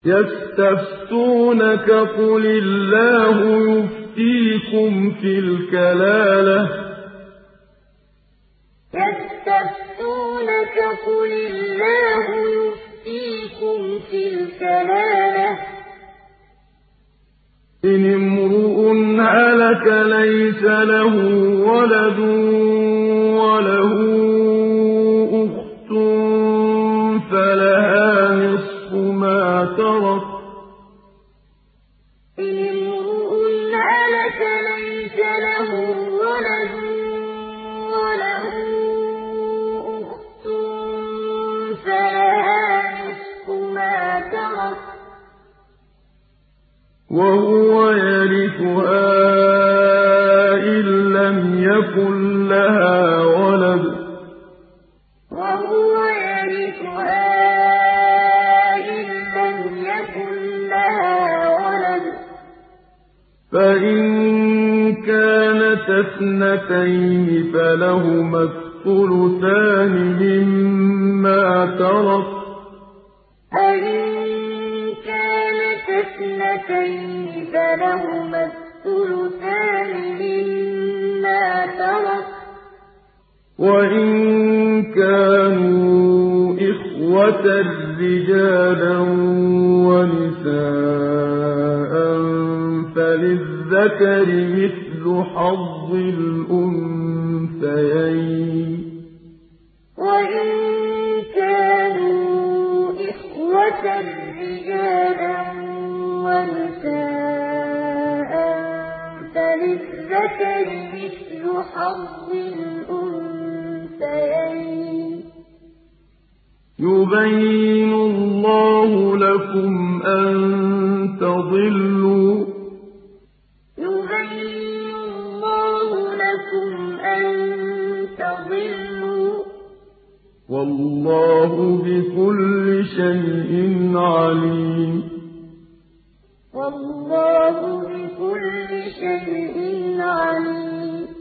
يَسْتَفْتُونَكَ قُلِ اللَّهُ يُفْتِيكُمْ فِي الْكَلَالَةِ ۚ إِنِ امْرُؤٌ هَلَكَ لَيْسَ لَهُ وَلَدٌ وَلَهُ أُخْتٌ فَلَهَا نِصْفُ مَا تَرَكَ ۚ وَهُوَ يَرِثُهَا إِن لَّمْ يَكُن لَّهَا وَلَدٌ ۚ فَإِن كَانَتَا اثْنَتَيْنِ فَلَهُمَا الثُّلُثَانِ مِمَّا تَرَكَ ۚ وَإِن كَانُوا إِخْوَةً رِّجَالًا وَنِسَاءً فَلِلذَّكَرِ مِثْلُ حَظِّ الْأُنثَيَيْنِ ۗ يُبَيِّنُ اللَّهُ لَكُمْ أَن تَضِلُّوا ۗ وَاللَّهُ بِكُلِّ شَيْءٍ عَلِيمٌ يَسْتَفْتُونَكَ قُلِ اللَّهُ يُفْتِيكُمْ فِي الْكَلَالَةِ ۚ إِنِ امْرُؤٌ هَلَكَ لَيْسَ لَهُ وَلَدٌ وَلَهُ أُخْتٌ فَلَهَا نِصْفُ مَا تَرَكَ ۚ وَهُوَ يَرِثُهَا إِن لَّمْ يَكُن لَّهَا وَلَدٌ ۚ فَإِن كَانَتَا اثْنَتَيْنِ فَلَهُمَا الثُّلُثَانِ مِمَّا تَرَكَ ۚ وَإِن كَانُوا إِخْوَةً رِّجَالًا وَنِسَاءً فَلِلذَّكَرِ مِثْلُ حَظِّ الْأُنثَيَيْنِ ۗ يُبَيِّنُ اللَّهُ لَكُمْ أَن تَضِلُّوا ۗ وَاللَّهُ بِكُلِّ شَيْءٍ عَلِيمٌ